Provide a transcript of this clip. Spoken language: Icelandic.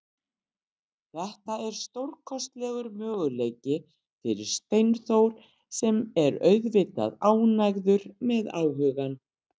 Þetta er stórkostlegur möguleiki fyrir Steinþór sem er auðvitað ánægður með áhugann.